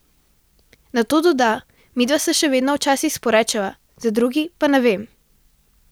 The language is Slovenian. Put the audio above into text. Nato doda: 'Midva se še vedno včasih sporečeva, za druge pa ne vem.